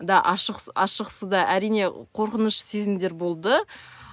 да ашық ашық суда әрине қорқыныш сезімдер болды